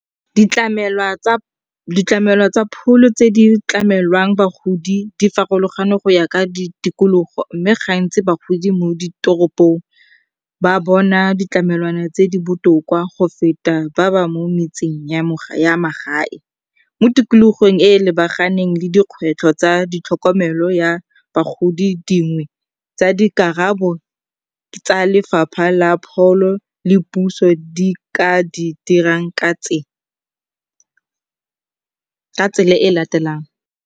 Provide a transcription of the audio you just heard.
Ditlamelwa tsa pholo tse di tlamelang bagodi di farologane go ya ka ditikologo mme ga ntsi bagodi mo ditoropong ba bona ditlamelwana tse di botoka go feta ba ba mo metseng ya magae. Mo tikologong e e lebaganeng le dikgwetlho tsa ditlhokomelo ya bagodi, dingwe tsa dikarabo tsa lefapha la pholo le puso di ka di dirang ka tsela e e latelang.